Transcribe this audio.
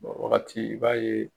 wagati i b'a ye.